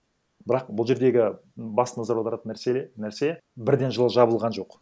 бірақ бұл жердегі басты назар аударатын нәрсе бірден жылы жабылған жоқ